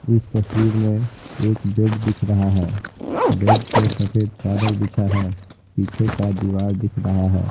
इस तस्वीर में एक बेड दिख रहा है बेड पे सफेद चादर बिछा है पीछे का दीवार दिख रहा है।